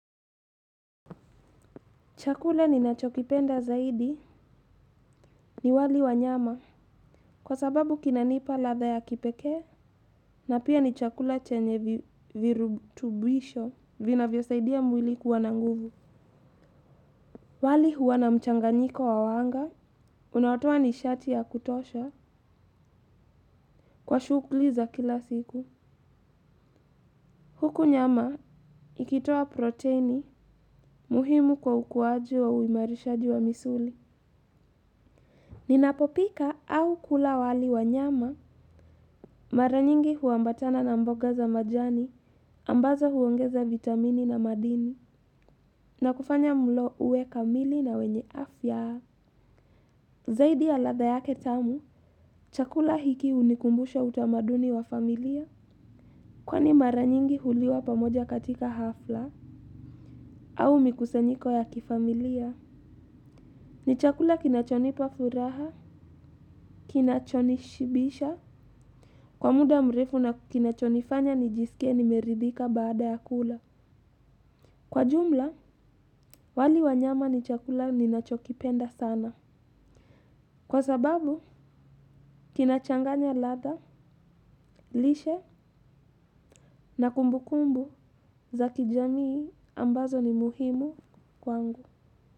Chakula ninachokipenda zaidi ni wali wa nyama kwa sababu kinanipa ladha ya kipekee na pia ni chakula chenye virutubisho vinavyosaidia mwili kuwa na nguvu. Wali huwa na mchanganyiko wa wanga unaotoa nishati ya kutosha kwa shuguli za kila siku. Huku nyama ikitoa protini muhimu kwa ukuwaji wa uimarishaji wa misuli. Ninapopika au kula wali wa nyama, mara nyingi huambatana na mboga za majani, ambazo huongeza vitamini na madini, na kufanya mlo uwe kamili na wenye afya. Zaidi ya ladha yake tamu, chakula hiki hunikumbusha utamaduni wa familia, kwani mara nyingi huliwa pamoja katika hafla, au mikusanyiko ya kifamilia. Ni chakula kinachonipa furaha, kinachonishibisha kwa muda mrefu na kinachonifanya nijisike nimeridhika baada ya kula. Kwa jumla, wali wa nyama ni chakula ninachokipenda sana. Kwa sababu, kinachanganya ladha, lishe na kumbukumbu za kijamii ambazo ni muhimu kwangu.